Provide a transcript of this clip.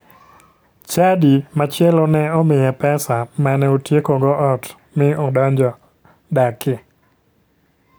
Chadi machielo ne omiye pesa mane otiekogo ot mi odonjo dakie.